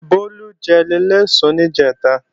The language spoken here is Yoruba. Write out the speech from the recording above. Bólú jẹ léléèsun níjẹ̀ta